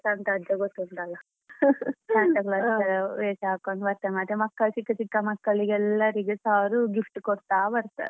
ಸಂತ ಅಜ್ಜ ಗೊತ್ತುಂಟಲ್ಲ Santa Claus ವೇಷ ಹಾಕೊಂಡ್ ಚಿಕ್ಕ ಚಿಕ್ಕ ಮಕ್ಕಳಿಗೆ ಎಲ್ಲರಿಗೆಸ ಅವ್ರು gift ಕೊಡ್ತಾ ಬರ್ತಾರೆ.